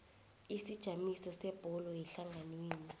isijamiso sebhodi yehlanganwenu